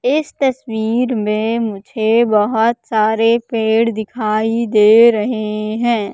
इस तस्वीर में मुझे बहोत सारे पेड़ दिखाई दे रहे हैं।